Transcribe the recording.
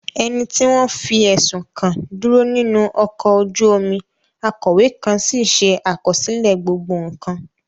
Ẹni tí wọ́n fi ẹ̀sùn kàn dúró nínú ọkọ̀ ojú omi, akọ̀wé kan sì ṣe àkọsílẹ̀ gbogbo nkan.